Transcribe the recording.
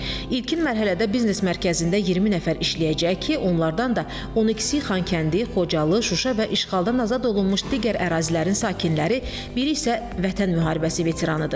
İlkin mərhələdə biznes mərkəzində 20 nəfər işləyəcək ki, onlardan da 12-si Xankəndi, Xocalı, Şuşa və işğaldan azad olunmuş digər ərazilərin sakinləri, biri isə Vətən müharibəsi veteranıdır.